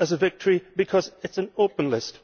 as a victory because it is an open list.